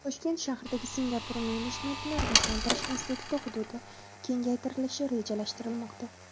Toshkent shahridagi Singapur Menejmentni rivojlantirish instituti hududi kengaytirilishi rejalashtirilmoqda.